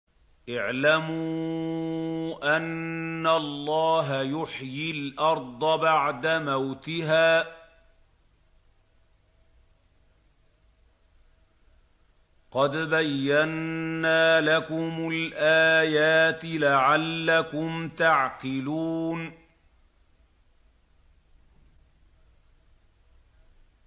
اعْلَمُوا أَنَّ اللَّهَ يُحْيِي الْأَرْضَ بَعْدَ مَوْتِهَا ۚ قَدْ بَيَّنَّا لَكُمُ الْآيَاتِ لَعَلَّكُمْ تَعْقِلُونَ